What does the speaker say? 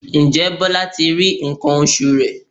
Ǹjẹ́ Bọlá ti rí nǹkan oṣù rẹ̀?